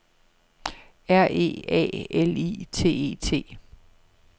R E A L I T E T